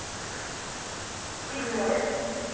седьмое